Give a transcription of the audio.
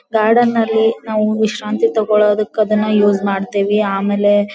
garden ನಲ್ಲಿ ನಾವು ವಿಶ್ರಾಂತಿ ತಗೋಳದಕ್ಕೆ ನಾವು ಯೂಸ್ ಮಾಡ್ತೀವಿ ಆಮೇಲೆ--